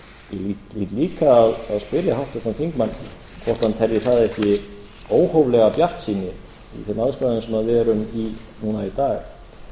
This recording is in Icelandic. hlýt líka að spyrja háttvirtan þingmann hvort hann telji það ekki óhóflega bjartsýni í þeim aðstæðum sem við erum í núna í dag